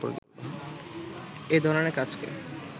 এধরণের কাজকে